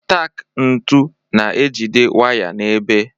Taak ntu na-ejide waya n'ebe.